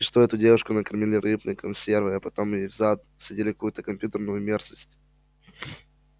и что эту девушку накормили рыбной консервой а потом ей в зад всадили какую-то компьютерную мерзость